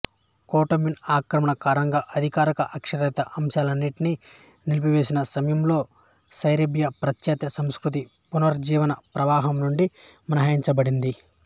Ottoman ఆక్రమణ కారణంగా అధికారిక అక్షరాస్యత అంశాన్నింటిని నిలిపివేసిన సమయంలో సెర్బియా పాశ్చాత్య సంస్కృతి పునరుజ్జీవన ప్రవాహం నుండి మినహాయించబడింది